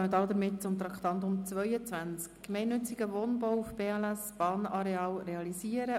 Wir kommen zum Traktandum 22, «Gemeinnützigen Wohnungsbau auf BLS-Bahnarealen realisieren».